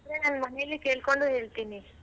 ನಾನ್ ಮನೇಲಿ ಕೇಳ್ಕೊಂಡು ಹೇಳ್ತೀನಿ.